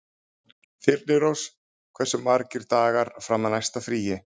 Þyrnirós, hversu margir dagar fram að næsta fríi?